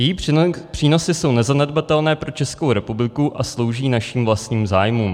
Její přínosy jsou nezanedbatelné pro Českou republiku a slouží našim vlastním zájmům.